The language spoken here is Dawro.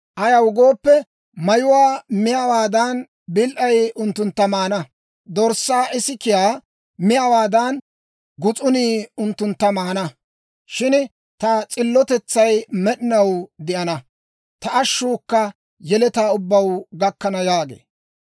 Ayaw gooppe, mayuwaa miyaawaadan, bil"ay unttuntta maana; dorssaa ikisiyaa miyaawaadan, gus'unii unttuntta maana. Shin ta s'illotetsay med'inaw de'ana; ta ashshuukka yeletaa ubbaw gakkana» yaagee.